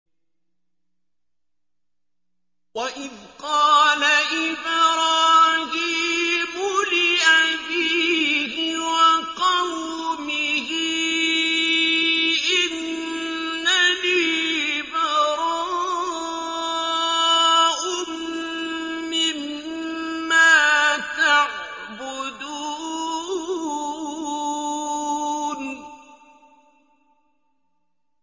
وَإِذْ قَالَ إِبْرَاهِيمُ لِأَبِيهِ وَقَوْمِهِ إِنَّنِي بَرَاءٌ مِّمَّا تَعْبُدُونَ